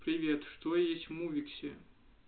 привет что есть в мувиксе